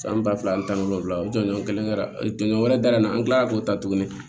San ba fila ani tan ni wolonwula o don kelen tɔɲɔgɔn wɛrɛ dalen an kila la k'o ta tuguni